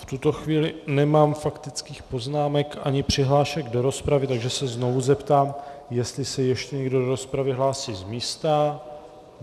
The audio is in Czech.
V tuto chvíli nemám faktických poznámek ani přihlášek do rozpravy, takže se znovu zeptám, jestli se ještě někdo do rozpravy hlásí z místa.